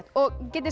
getið